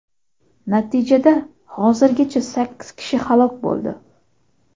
Natijada hozirgacha sakkiz kishi halok bo‘ldi.